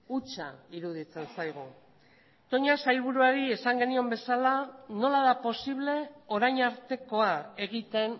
hutsa iruditzen zaigu toña sailburuari esan genion bezala nola da posible orain artekoa egiten